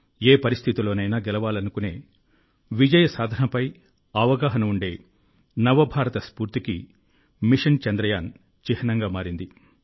ఏ పరిస్థితిలోనైనా గెలవాలనుకునే విజయ సాధనపై అవగాహన ఉండే నవ భారత స్ఫూర్తికి మిషన్ చంద్రయాన్ చిహ్నంగా మారింది